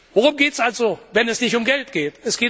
Worum geht es also, wenn es nicht um Geld geht?